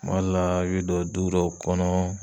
Kuma d la i bi do du dɔw kɔnɔɔ